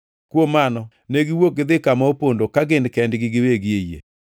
Kuom mano ne giwuok gidhi kama opondo ka gin kendgi giwegi e yie.